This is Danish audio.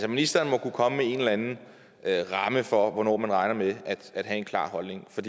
ministeren må kunne komme med en eller anden ramme for hvornår man regner med at have en klar holdning for